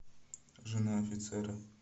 жена офицера